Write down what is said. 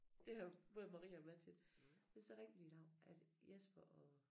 Det har både Maria og mig tøt det så rigtigt nok at Jesper og